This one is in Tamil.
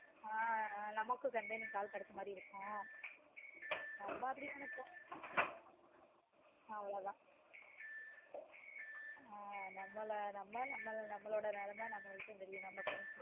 ஆஹ் நமக்கும் company க்கு ஆள் கெடைச்ச மாதிரி இருக்கும் அது மாதிரி இப்போ அவ்ளோ தான் அஹ் நம்ம நம்மளோட நிலமை நமக்கு தான் தெரியும் நம்ம friends